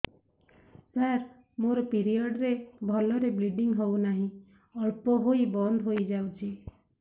ସାର ମୋର ପିରିଅଡ଼ ରେ ଭଲରେ ବ୍ଲିଡ଼ିଙ୍ଗ ହଉନାହିଁ ଅଳ୍ପ ହୋଇ ବନ୍ଦ ହୋଇଯାଉଛି